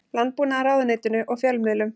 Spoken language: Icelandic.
Landbúnaðarráðuneytinu og fjölmiðlum.